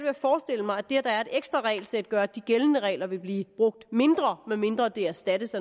at forestille mig at det at der er et ekstra regelsæt gør at de gældende regler vil blive brugt mindre medmindre de erstattes